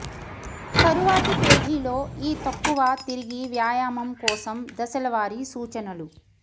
తరువాతి పేజీలో ఈ తక్కువ తిరిగి వ్యాయామం కోసం దశల వారీ సూచనలు